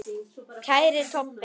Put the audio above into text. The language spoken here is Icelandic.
Kæri Tobbi.